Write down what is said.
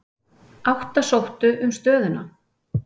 Átta sóttu um stöðuna.